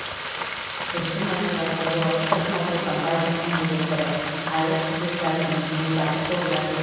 гүлсім әжібаева жолаушы тасымалдау компаниясының директоры айлық төлеп жатырмыз зейнетақы қорына төлейміз